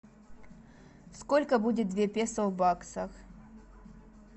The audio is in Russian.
сколько будет две песо в баксах